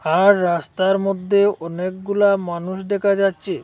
তার রাস্তার মধ্যে অনেকগুলা মানুষ দেকা যাচ্ছে।